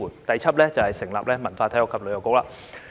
第七，成立文化、體育及旅遊局。